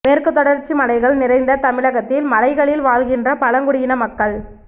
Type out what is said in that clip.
மேற்கு தொடர்ச்சி மலைகள் நிறைந்த தமிழகத்தில் மலைகளில் வாழ்கின்ற பழங்குடியின மக்கள்